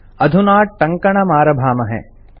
अधुना टङ्कणमारभाहे